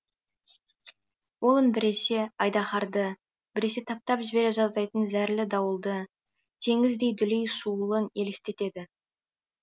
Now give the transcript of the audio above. ол үн біресе айдаһарды біресе таптап жібере жаздайтын зәрлі дауылды теңіздей дүлей шуылын елестетеді